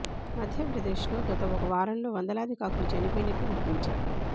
మధ్యప్రదేశ్లో గత ఒక వారంలో వందలాది కాకులు చనిపోయినట్లు గుర్తించారు